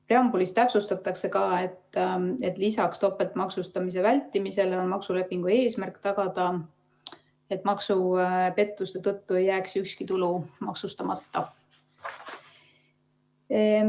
Preambulis täpsustatakse ka, et lisaks topeltmaksustamise vältimisele on maksulepingu eesmärk tagada, et maksupettuste tõttu ei jääks ükski tulu maksustamata.